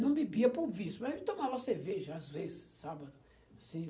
Não bebia por vício, mas tomava cerveja às vezes, sabe? Assim